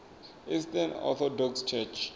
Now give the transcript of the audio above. eastern orthodox church